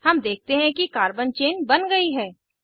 हम देखते हैं कि कार्बन चेन बन गयी है